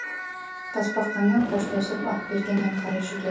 тасбақамен қоштасып ақберген әрі қарай жүреді